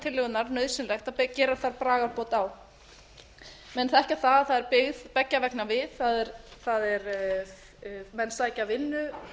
tillögunnar nauðsynlegt að gera þar bragarbót á menn þekkja að það er byggð beggja vegna við menn sækja vinnu